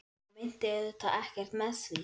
Ég meinti auðvitað ekkert með því.